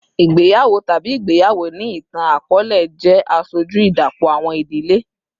Igbeyawo tabi igbeyawo ni itan-akọọlẹ jẹ aṣoju idapọ awọn idile